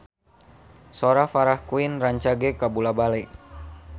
Sora Farah Quinn rancage kabula-bale